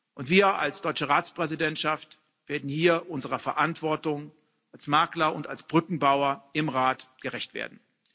Und wir als deutsche Ratspräsidentschaft werden hier unserer Verantwortung als Makler und als Brückenbauer im Rat gerecht werden.